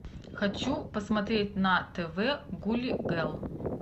хочу посмотреть на тв гули гэл